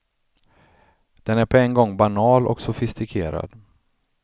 Den är på en gång banal och sofistikerad.